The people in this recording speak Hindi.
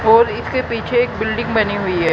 और इसके पीछे एक बिल्डिंग बनी हुई है।